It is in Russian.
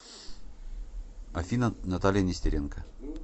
афина наталья нестеренко